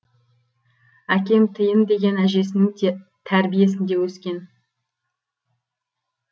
әкем тиын деген әжесінің тәрбиесінде өскен